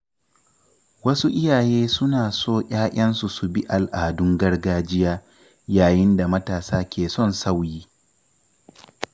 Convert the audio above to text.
Wasu iyaye suna so ‘ya’yansu su bi al’adun gargajiya, yayin da matasa ke son sauyi.